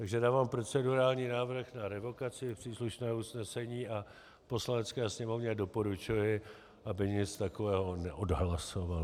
Takže dávám procedurální návrh na revokaci příslušného usnesení a Poslanecké sněmovně doporučuji, aby nic takového neodhlasovala.